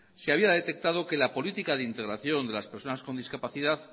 se había detectado que la política de integración de las personas con discapacidad